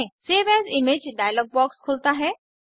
save as image dialog box खुलता है